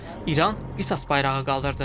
İran qisas bayrağı qaldırdı.